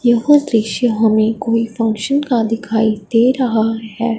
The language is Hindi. यह दृश्य हमें कोई फंक्शन का दिखाई दे रहा है।